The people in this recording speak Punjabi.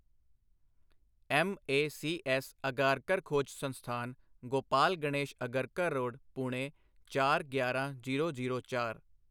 ਐੱਮਏਸੀਐੱਸ ਅਘਾਰਕਰ ਖੋਜ ਸੰਸਥਾਨ, ਗੋਪਾਲ ਗਣੇਸ਼ ਅਗਰਕਰ ਰੋਡ, ਪੁਣੇ ਚਾਰ, ਗਿਆਰਾਂ, ਜ਼ੀਰੋ, ਜ਼ੀਰੋ, ਚਾਰ